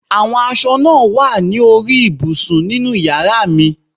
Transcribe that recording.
Àwọn aṣọ náà wà ní orí ibùsùn ninú yàrá mi